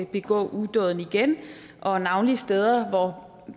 begå udåden igen og navnlig steder hvor